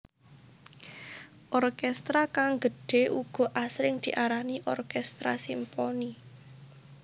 Orkestra kang gedhe uga asring diarani orkestra simponi